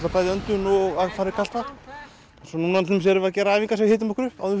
bæði öndun og að fara í kalt vatn núna erum við að gera æfingar sem hita okkur upp áður